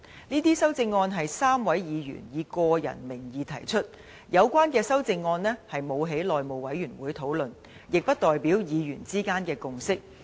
這些修正案是3位議員以個人名義提出，有關修正案並未經內務委員會討論，亦不代表議員之間的共識。